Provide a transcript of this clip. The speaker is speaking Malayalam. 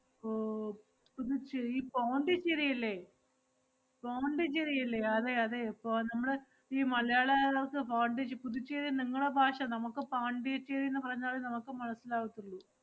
ഓ പുതുച്ചേരി പോണ്ടിച്ചേരി ഇല്ലേ? പോണ്ടിച്ചേരി ഇല്ലേ? അതെയതെ ഇപ്പൊ നമ്മള് ഈ മലയാള സ്~ പോണ്ടിച്~ പുതുച്ചേരി നിങ്ങളെ ഭാഷ, നമുക്ക് പോണ്ടിച്ചേരിന്ന് പറഞ്ഞാലേ നമക്ക് മനസ്സിലാവത്തൊള്ളൂ.